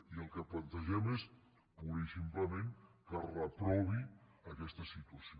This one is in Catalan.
i el que plantegem és purament i simplement que es reprovi aquesta situació